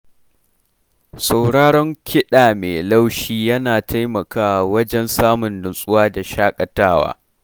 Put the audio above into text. Sauraron kiɗa mai laushi yana taimakawa wajen samun nutsuwa da shaƙatawa.